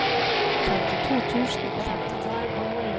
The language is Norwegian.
femtito tusen og femtitre